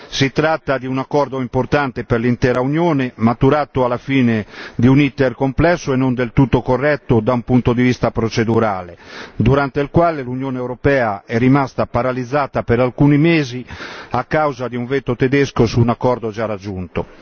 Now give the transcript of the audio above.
Si tratta di un accordo importante per l'intera Unione, maturato alla fine di un iter complesso e non del tutto corretto da un punto di vista procedurale, durante il quale l'Unione europea è rimasta paralizzata per alcuni mesi a causa di un veto tedesco su un accordo già raggiunto.